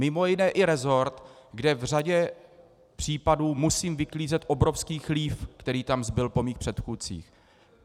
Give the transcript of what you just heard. Mimo jiné i rezort, kde v řadě případů musím vyklízet obrovský chlív, který tam zbyl po mých předchůdcích.